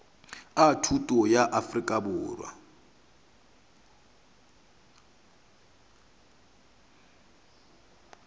a thuto bja afrika borwa